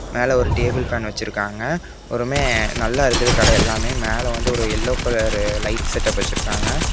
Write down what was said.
மேல ஒரு table fan வெச்சிருக்காங்க ஒருமே நல்லா இருக்குது கடையெல்லாமே மேல வந்து ஒரு எல்லோ கலர் லைட் செட்டப் வெச்சிருக்காங்க.